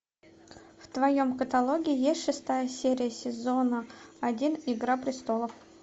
в твоем каталоге есть шестая серия сезона один игра престолов